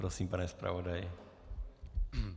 Prosím, pane zpravodaji.